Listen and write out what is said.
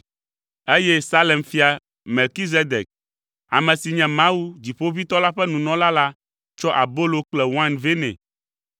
eye Salem fia Melkizedek, ame si nye Mawu, Dziƒoʋĩtɔ la ƒe nunɔla la tsɔ abolo kple wain vɛ nɛ,